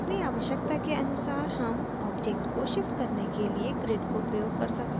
अपनी आवश्यकता के अनुसार हम objects को शिफ्ट करने के लिए grid को प्रयोग कर सकते हैं